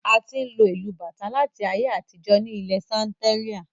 A ti n lo ìlu bàtà láti ayé àtijó ní ilẹ Santeria